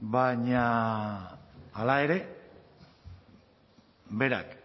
baina hala ere berak